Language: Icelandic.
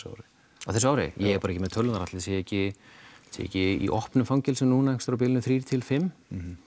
ári á þessu ári ég er bara ekki með tölurnar ætli það séu ekki ekki í opnum fangelsum núna einhvers á bilinu þrjú til fimmta